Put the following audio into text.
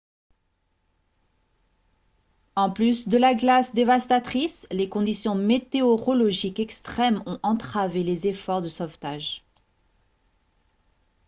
en plus de la glace dévastatrice les conditions météorologiques extrêmes ont entravé les efforts de sauvetage